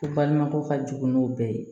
Baɲumankɛw ka jugun bɛɛ ye